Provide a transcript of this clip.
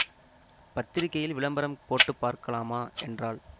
பத்திரிகையில் விளம்பரம் போட்டு பார்க்கலாமா என்றாள்